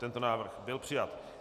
Tento návrh byl přijat.